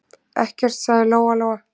Ekkert, sagði Lóa-Lóa.